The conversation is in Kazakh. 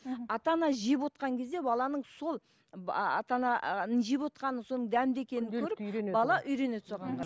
мхм ата ана жеп кезде баланың сол ата ананың жеп отырғанын соның дәмді екенін көріп бала үйренеді соған қарап